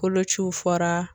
Kolociw fɔra.